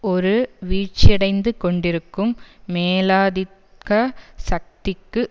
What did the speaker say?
ஒரு வீழ்ச்சியடைந்து கொண்டிருக்கும் மேலாதித்க சக்திக்கு